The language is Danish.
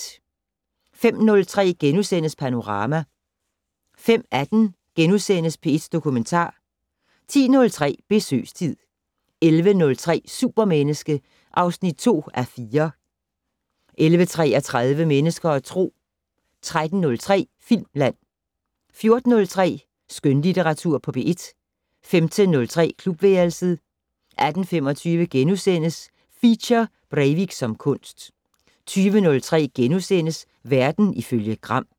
05:03: Panorama * 05:18: P1 Dokumentar * 10:03: Besøgstid 11:03: Supermenneske (2:4) 11:33: Mennesker og Tro 13:03: Filmland 14:03: Skønlitteratur på P1 15:03: Klubværelset 18:25: Feature: Breivik som kunst * 20:03: Verden ifølge Gram *